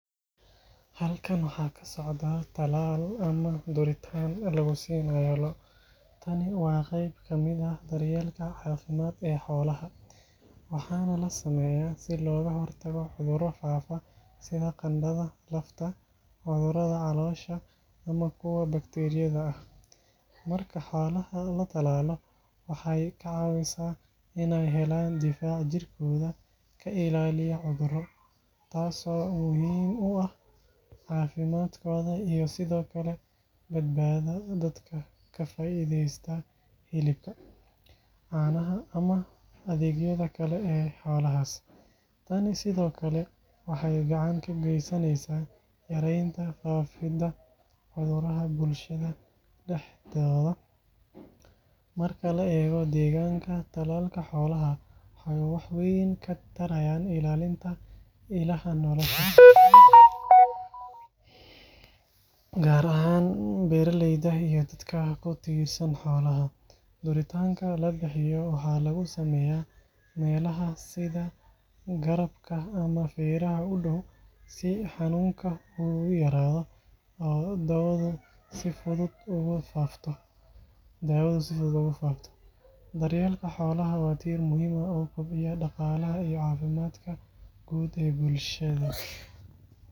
Halkan waxa ka socda tallaal ama duritaan lagu siinayo lo’. Tani waa qayb ka mid ah daryeelka caafimaad ee xoolaha, waxaana la sameeyaa si looga hortago cudurro faafa sida qandhada lafta, cudurrada caloosha ama kuwa bakteeriyada ah. Marka xoolaha la tallaalo, waxay ka caawisaa in ay helaan difaac jirkooda ka ilaaliya cudurro, taasoo muhiim u ah caafimaadkooda iyo sidoo kale badbaadada dadka ka faa’iideysta hilibka, caanaha, ama adeegyada kale ee xoolahaas. Tani sidoo kale waxay gacan ka geysaneysaa yareynta faafidda cudurrada bulshada dhexdeeda. Marka la eego deegaanka, tallaalka xoolaha waxa uu wax weyn ka tarayaa ilaalinta ilaha nolosha, gaar ahaan beeraleyda iyo dadka ku tiirsan xoolaha. Duritaanka la bixiyo waxaa lagu sameeyaa meelaha sida garabka ama feeraha u dhow, si xanuunka u yaraado oo daawadu si fudud ugu faafto. Daryeelka xoolaha waa tiir muhiim ah oo kobciya dhaqaalaha iyo caafimaadka guud ee bulshada.